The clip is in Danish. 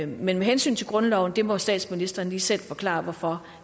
men med hensyn til grundloven må statsministeren lige selv forklare hvorfor